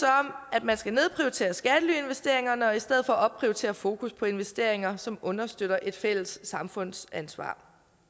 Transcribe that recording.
at man skal nedprioritere skattelyinvesteringerne og i stedet for opprioritere et fokus på investeringer som understøtter et fælles samfundsansvar